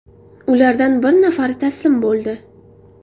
Ulardan bir nafari taslim bo‘ldi.